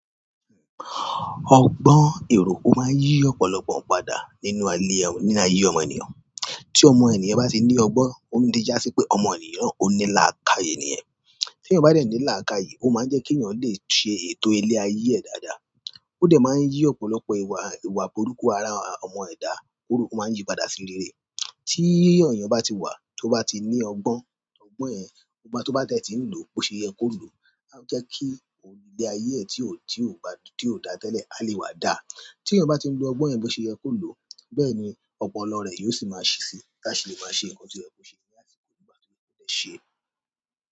Ọgbọ́n èrò o máa ń yí ọ̀pọ̀lọpọ̀ padà nínú ayé ọmọ ènìyàn. Tí ọmọ ènìyàn bá ti ní ọgbọ́n, ó tí jásí pé ọmọ ènìyàn ó ní làákàyè nìyẹn. Tí eeyan bá dẹ̀ ní làákàyè, ó máa ń jẹ́ kí èeyàn lè ṣe ètò ilé ayé ẹ dáadáa. Ó dẹ̀ máa ń yí ọ̀pọ̀lọpọ̀ ìwà burúkú ara ọmọ ẹ̀dá kúrò, ó máa ń yí padà sí rere. Tí eeyàn bá ti wà, tó bá ti ní ọgbọ́n, ọgbọ́n yẹn tó bá dẹ̀ tí ń lò bó ṣe yẹ kó lò. A je ki ile aye e ti o da tele a le wa daa tí eeyan bá ti ń lo ọgbọ́n yẹn bó ṣe yẹ kó lò, bẹ́ẹ̀ ni ọpọlọ rẹ yóò sì máa ṣí sí latí lè máa ṣe nǹkan tí o yẹ̀ kò ṣe ní àsìkò nígbà tó yẹ kó dé ṣẹ.